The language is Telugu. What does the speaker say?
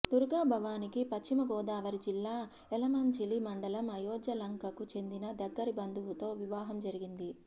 దుర్గాభవానీకి పశ్చిమ గోదావరి జిల్లా యలమంచిలి మండలం అయోధ్యలంకకు చెందిన దగ్గరి బంధువుతో వివాహం జరిగింది